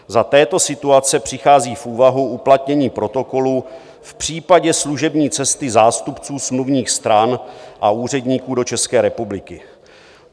Za této situace přichází v úvahu uplatnění Protokolu v případě služební cesty zástupců smluvních stran a úředníků do České republiky.